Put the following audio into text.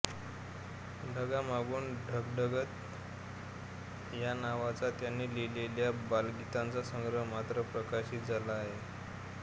ढगांमागून गडगडत या नावाचा त्यांनी लिहिलेल्या बालगीतांचा संग्रह मात्र प्रकाशित झाला आहे